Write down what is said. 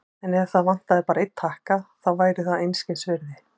En ef það vantaði bara einn takka, þá væri það einskisvirði.